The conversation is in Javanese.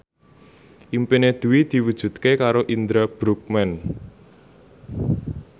impine Dwi diwujudke karo Indra Bruggman